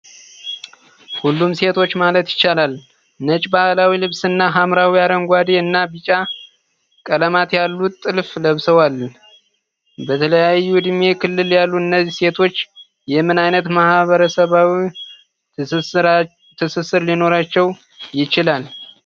ሁሉም ሴቶች ማለት ይቻላል ነጭ ባህላዊ ልብስ እና ሐምራዊ፣ አረንጓዴ እና ቢጫ ቀለማት ያሉት ጥልፍ ለብሰዋል። በተለያዩ ዕድሜ ክልል ያሉ እነዚህ ሴቶች የምን ዓይነት ማህበረሰባዊ ትስስር ሊኖራቸው ይችላል?